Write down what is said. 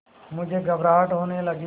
मुझे घबराहट होने लगी